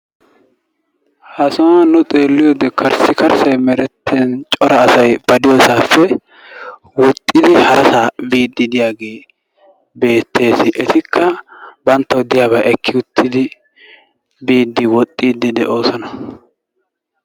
Ha sohuwan nu xeeliyoode karssi karssay meretin cora asay ba de'iyoossappe woxxidi harasa biide diyaage beettes. Etikka banttaw diyaaba ekki uttidi biide woxxide de'oosona.